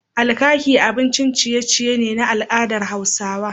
Alkaki abincin ciye ciye ne na al'adar Hausawa